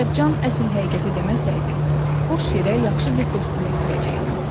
Əgər Can əsl həqiqəti deməsəydi, boş yerə yaxşı bir dostumu itirəcəkdim.